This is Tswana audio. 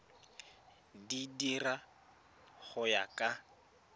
di dira go ya ka